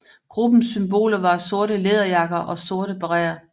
Gruppens symboler var sorte læderjakker og sorte baretter